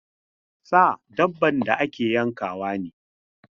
Sa dabban da ake yankawa ne.